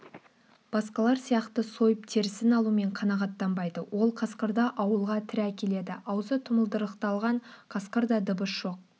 басқалар сияқты сойып терісін алумен қанағаттанбайды ол қасқырды ауылға тірі әкеледі аузы тұмылдырықталған қасқырда дыбыс жоқ